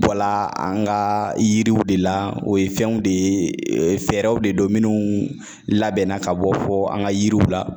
Bɔla an ga yiriw de la o ye fɛnw de ye fɛɛrɛw de do minnu labɛnna ka bɔ fɔ an ka yiriw la